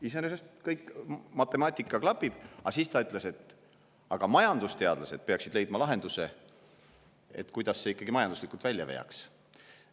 Iseenesest matemaatika klapib, aga siis ta ütles, et majandusteadlased peaksid leidma lahenduse, kuidas see ikkagi majanduslikult välja veaks.